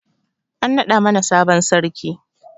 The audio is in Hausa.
An naɗa mana sabon sarki